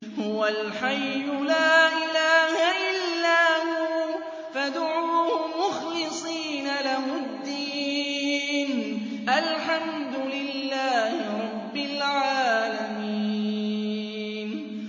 هُوَ الْحَيُّ لَا إِلَٰهَ إِلَّا هُوَ فَادْعُوهُ مُخْلِصِينَ لَهُ الدِّينَ ۗ الْحَمْدُ لِلَّهِ رَبِّ الْعَالَمِينَ